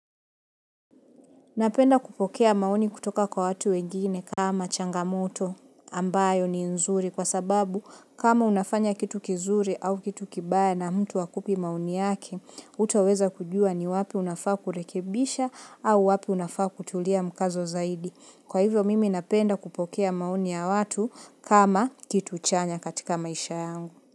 Napenda kupokea maoni kutoka kwa watu wengine kama changamoto ambayo ni nzuri kwa sababu kama unafanya kitu kizuri au kitu kibaya na mtu hakupi maoni yake, utaweza kujua ni wapi unafaa kurekebisha au wapi unafaa kutulia mkazo zaidi. Kwa hivyo mimi napenda kupokea maoni ya watu kama kitu chanya katika maisha yangu.